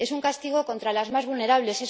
Es un castigo contra las más vulnerables.